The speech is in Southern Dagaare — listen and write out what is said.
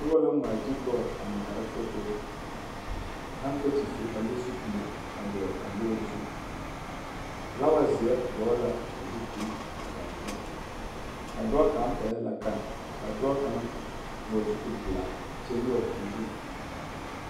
Noba la ŋmaa gyili lɔɔre a ŋmaara forori ka haŋkakyifiri ane zupile a dɔgele a lɔɔre zu, filaawa zeɛ dɔgele la a zupili kaŋ zu, a dɔɔ kaŋ pɛɛle la gane a dɔɔ kaŋ vɔgele zupili pelaa a kyɛ nyɔge o zu.